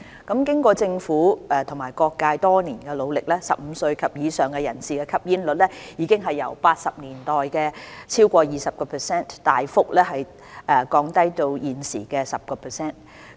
經過政府和各界多年努力 ，15 歲及以上人士的吸煙率已由1980年代超過 20%， 大幅降低至現時 10%。